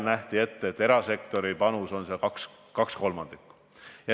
Olgu öeldud veel, et erasektori panusena nähti ette 2/3.